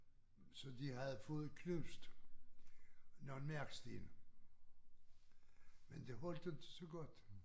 Så de havde fået knust nogle marksten men det holdte jo inte så godt